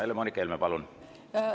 Helle-Moonika Helme, palun!